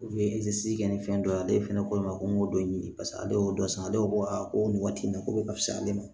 i tɛ se kɛ ni fɛn dɔ ye ale fana ko e ma ko n b'o dɔ ɲini paseke ale y'o dɔ san ale ko ko aa ko nin waati in na ko bɛ ka fisa ale ma